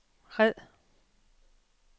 red